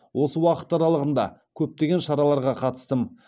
осы уақыт аралығында көптеген шараларға қатыстым